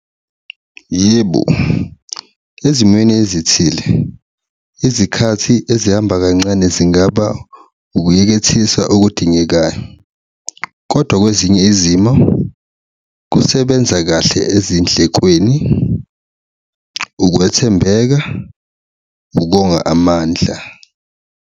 Yebo, ezimweni ezithile izikhathi ezihamba kancane zingaba ukuyekethisa okudingekayo kodwa kwezinye izimo kusebenza kahle ezindlekweni, ukwethembeka, ukonga amandla.